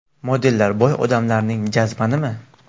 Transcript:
Modellar boy odamlarning jazmanimi?